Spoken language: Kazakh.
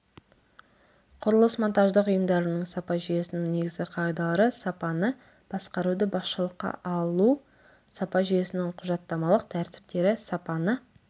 құрылыс монтаждық ұйымдарының сапа жүйесінің негізгі қағидалары сапаны басқаруды басшылыққа алу сапа жүйесінің құжаттамалық тәртіптері сапаны